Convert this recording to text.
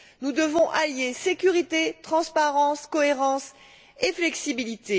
Nous devons allier sécurité, transparence, cohérence et flexibilité.